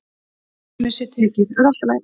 Svo dæmi sé tekið.